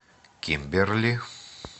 кимберли